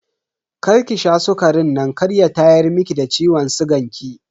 Karki sha sukarin nan kar ya tayar miki da ciwon sigan ki.